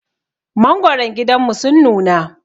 Mangwaran gidanmu sun nuna.